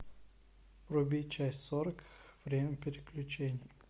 вруби часть сорок время приключений